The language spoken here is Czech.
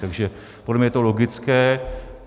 Takže podle mě je to logické.